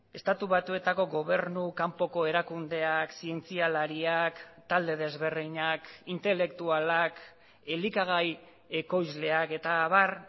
estatu batuetako gobernu kanpoko erakundeak zientzialariak talde desberdinak intelektualak elikagai ekoizleak eta abar